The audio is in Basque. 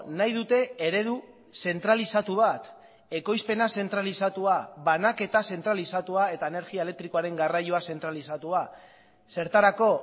nahi dute eredu zentralizatu bat ekoizpena zentralizatua banaketa zentralizatua eta energia elektrikoaren garraioa zentralizatua zertarako